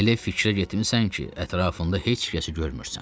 Elə fikrə getmisən ki, ətrafında heç kəsi görmürsən.